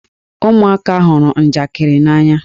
Ụmụaka hụrụ njakịrị n'anya.